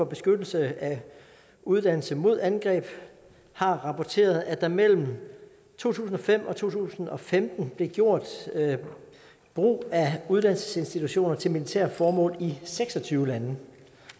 beskyttelse af uddannelse mod angreb har rapporteret at der mellem to tusind og fem og to tusind og femten blev gjort brug af uddannelsesinstitutioner til militære formål i seks og tyve lande